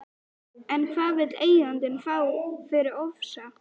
En hvað vill eigandinn fá fyrir Ofsa?